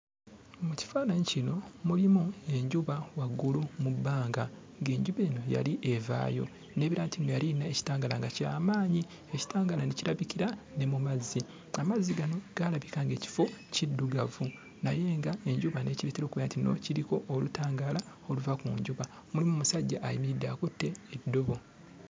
Mu kifaananyi kino mulimu enjuba waggulu mu bbanga, ng'enjuba eno yali evaayo. N'ebeera nti nno yali eyina ekitangaala nga ky'amaanyi. Ekitangaala ne kirabikira ne mu mazzi. Amazzi gano gaalabika ng'ekifo kiddugavu naye nga enjuba n'ekireetera okubeera nti nno kiriko olutangaala oluva ku njuba. Mulimu omusajja ayimiridde akutte eddobo.